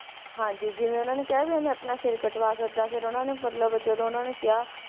ਹਾਂਜੀ ਜਿਵੇਂ ਉਹਨਾਂ ਨੇ ਕਿਹਾ ਸੀ ਵੀ ਮੈਂ ਆਪਣਾ ਸਿਰ ਕਟਵਾ ਸਕਦਾ ਫਿਰ ਉਹਨਾਂ ਨੇ ਮਤਲਬ ਜਦੋਂ ਉਹਨਾਂ ਨੇ ਕਿਹਾ